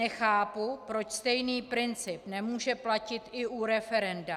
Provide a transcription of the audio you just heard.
Nechápu, proč stejný princip nemůže platit i u referenda.